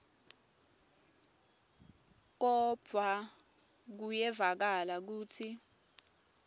kodvwa kuyevakala kutsi